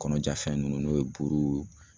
Kɔnɔja fɛn nunnu n'o ye buru